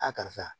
karisa